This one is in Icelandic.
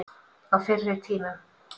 Á fyrri tímum.